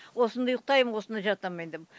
осында ұйықтаймын осында жатамын айтамын